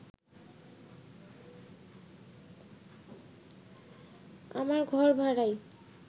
আমার ঘর ভাড়াই